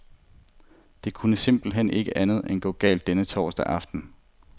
Det kunne simpelt hen ikke andet end gå galt denne torsdag aften.